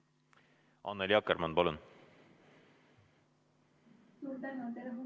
Annely Akkermann, palun!